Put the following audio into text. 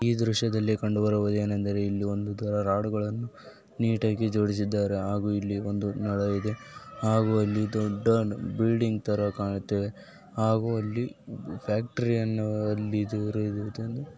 ಈ ದೃಶ್ಯದಲ್ಲಿ ಕಂಡುಬರುವೆನೆಂದರೇ ಇಲ್ಲಿ ಒಂದು ರಾಡುಗಳನ್ನು ನೀಟಾಗಿ ಜೋಡಿಸಿದ್ದಾರೆ ಹಾಗೂ ಇಲ್ಲಿಒಂದು ಮರವಿದೆ ಹಾಗೂ ದೊಡ್ಡ ಬಿಲ್ಡಿಂಗ್ ತರ ಕಾಣುತ್ತ ಇದೆ ಹಾಗೂ ಅಲ್ಲಿ ಫ್ಯಾಕ್ಟರಿ .]